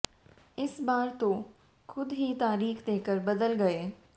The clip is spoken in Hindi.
इस बार तो खुद ही तारीख देकर बदल गए